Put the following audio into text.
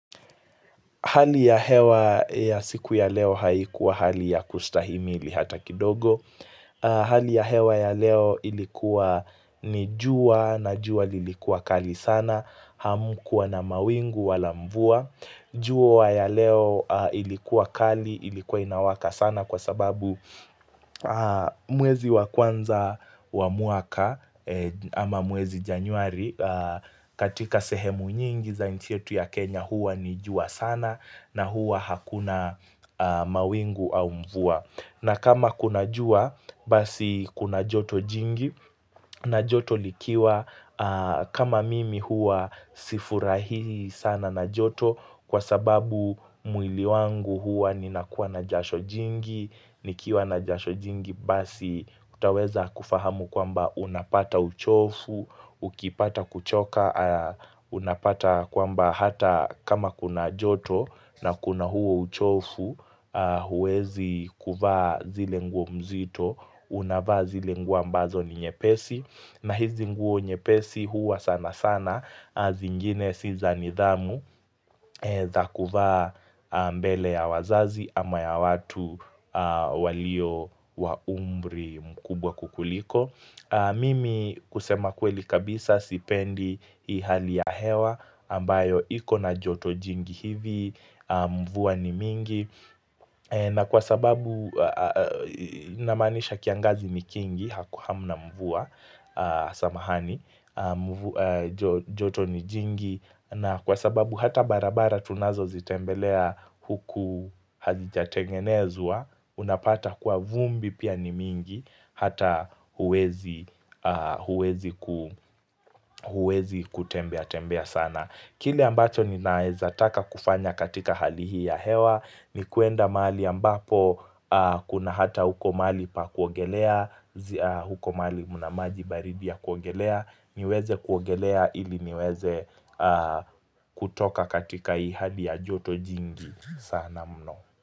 Hali ya hewa ya siku ya leo haikuwa hali ya kustahimili hata kidogo. Hali ya hewa ya leo ilikuwa ni jua na jua lilikuwa kali sana. Hamkuwa na mawingu wala mvua. Jua ya leo ilikuwa kali, ilikuwa inawaka sana kwa sababu mwezi wa kwanza wa mwaka ama mwezi januari. Katika sehemu nyingi za nchi yetu ya Kenya huwa ni jua sana. Na huwa hakuna mawingu au mvua na kama kuna jua basi kuna joto jingi na joto likiwa kama mimi huwa sifurahi sana na joto Kwa sababu mwili wangu huwa ninakuwa na jasho jingi nikiwa na jasho jingi basi kutaweza kufahamu kwamba unapata uchovu Ukipata kuchoka unapata kwamba hata kama kuna joto na kuna huo uchovu huezi kuvaa zile nguo mzito unavaa zile nguo ambazo ni nyepesi na hizi nguo nyepesi huwa sana sana zingine si za nidhamu za kuvaa mbele ya wazazi ama ya watu walio wa umri mkubwa kukuliko Mimi kusema kweli kabisa sipendi hii hali ya hewa ambayo ikona joto jingi hivi Mvua ni mingi na kwa sababu Namaanisha kiangazi ni kingi hamna mvua Samahani joto ni jingi na kwa sababu hata barabara tunazozitembelea Huku hazijatengenezwa Unapata kuwa vumbi pia ni mingi Hata huwezi huwezi kutembea tembea sana Kile ambacho ninaezataka kufanya katika hali hii ya hewa ni kuenda mahali ambapo kuna hata huko mali pa kuogelea huko mahali mna maji baridi ya kuogelea niweze kuogelea ili niweze kutoka katika hii hali ya joto jingi sana mno.